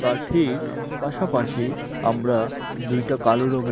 আর ঠিক পাশাপাশি আমরা দুইটা কালো রঙের--